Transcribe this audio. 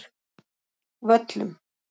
Völlum